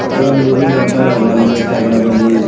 ಅಲ್ಲೊಂದು ನೀರಿನ ಬಾಟಲ್ ಅದ ಅಲ್ .